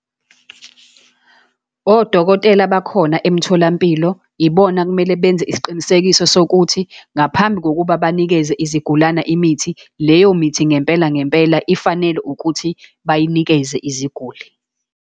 Odokotela bakhona emtholampilo, ibona kumele benze isiqinisekiso sokuthi ngaphambi kokuba banikeze izigulana imithi, leyo mithi ngempela ngempela ifanele ukuthi bayinikeze iziguli.